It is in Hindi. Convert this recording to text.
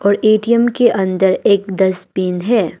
और ए_टी_एम के अंदर एक डस्टबिन है।